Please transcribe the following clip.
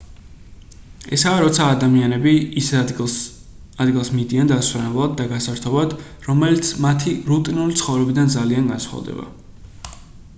ესაა როცა ადამიანები ისეთ ადგილას მიდიან დასასვენებლად და გასართობად რომელიც მათი რუტინული ცხოვრებიდან ძალიან განსხვავდება